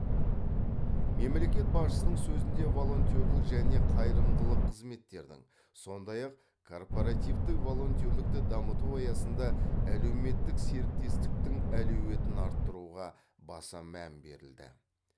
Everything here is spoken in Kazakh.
мемлекет басшысының сөзінде волонтерлік және қайырымдылық қызметтердің сондай ақ корпоративтік волонтерлікті дамыту аясында әлеуметтік серіктестіктің әлеуетін арттыруға баса мән берілді